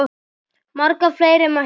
Marga fleiri mætti nefna.